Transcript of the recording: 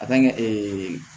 ee